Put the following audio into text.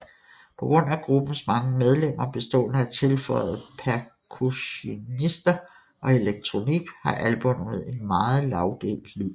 På grund af gruppens mange medlemmer bestående af tilføjede percussionister og elektronik har albummet en meget lagdelt lyd